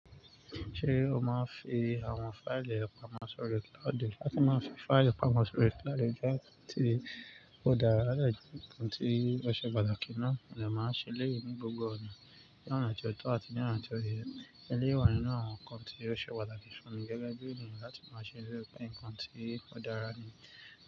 Ṣé o máa ń fi àwọn fáìlì pamọ́ sórí cloud? Ọ̀dẹ̀ àti máa ń fi fáìlì pamọ́ sórí cloud jẹ́ kí ti odara láti ìkànnì tí ó ṣe pàtàkì ná. Nìyẹn máa ń ṣẹlẹ̀ nínú gbogbo ọ̀nà, ní ọ̀nà tí ọ̀tọ̀ àti ní ọ̀nà tí òye. Eléyi wa ninu àwọn nkan tí ó ṣe pàtàkì fún mi gẹ́gẹ́ bí eniyan láti máa ṣẹ nínú nnkan ti odara ni.